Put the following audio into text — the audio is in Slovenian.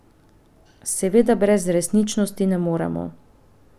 Seveda brez resničnosti ne moremo.